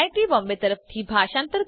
જોડાવા બદ્દલ આભાર